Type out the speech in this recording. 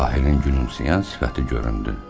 Tahirin gülümsəyən sifəti göründü.